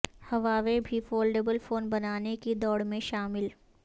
Huawei بھی foldable phone بنانے کی دوڑ میں شامل